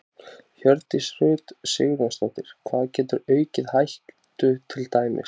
Hjördís Rut Sigurjónsdóttir: Hvað getur aukið hættu til dæmis?